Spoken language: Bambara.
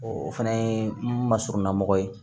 o fana ye n ma surunna mɔgɔ ye